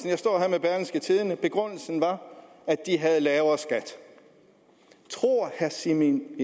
jeg tidende og begrundelsen var at de havde lavere skat tror herre simon